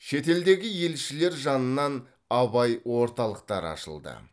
шетелдегі елшілер жанынан абай орталықтары ашылды